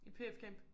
I pf camp?